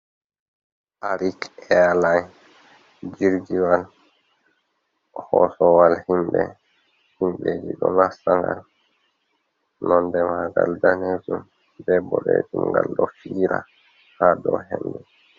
Arik airlin jirgiwal hosowal himɓe, himɓeji ɗo nasta ngal nonde mangal danejum be boɗejum ngal ɗo fiira ha dow hendu.